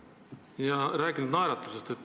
Ja te olete rääkinud naeratusest.